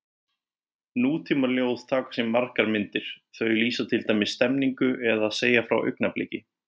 Nútímaljóð taka á sig margar myndir, þau lýsa til dæmis stemningu eða segja frá augnabliki.